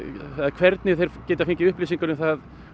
hvernig þeir geta fengið upplýsingar um það